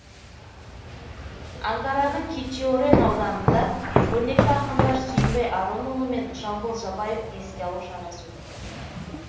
анкараның кечиорен ауданында көрнекті ақындар сүйінбай аронұлы мен жамбыл жабаевты еске алу шарасы өтті